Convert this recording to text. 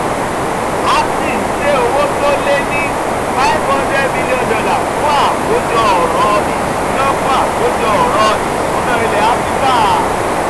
actis gbé owó tó lé ní five hundred million dollar fún àkójọ ọ̀rọ̀-ìṣúná fún àkójọ ọ̀rọ̀-ìṣúná ilẹ̀ áfíríkà